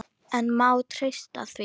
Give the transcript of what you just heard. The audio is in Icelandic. En má treysta því?